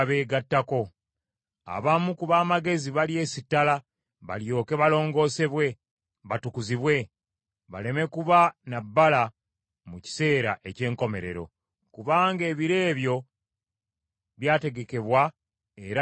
Abamu ku b’amagezi balyesittala, balyoke balongoosebwe, batukuzibwe, baleme kuba na bbala mu kiseera eky’enkomerero, kubanga ebiro ebyo byategekebwa era birituukirira.